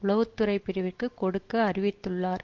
உளவு துறை பிரிவிற்குக் கொடுக்க அறிவித்துள்ளார்